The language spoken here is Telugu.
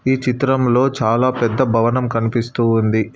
ఈ చిత్రంలో చాలా పెద్ద భవనం కనిపిస్తూ ఉంది.